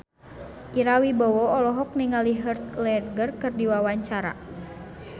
Ira Wibowo olohok ningali Heath Ledger keur diwawancara